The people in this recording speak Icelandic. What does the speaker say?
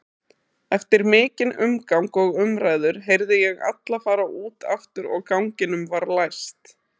Eftir mikinn umgang og samræður heyrði ég alla fara út aftur og ganginum var læst.